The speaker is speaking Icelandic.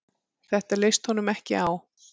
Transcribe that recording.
Þetta leist honum ekki á.